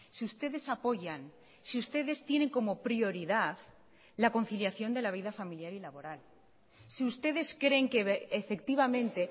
si ustedes apoyan si ustedes tienen como prioridad la conciliación de la vida familiar y laboral si ustedes creen que efectivamente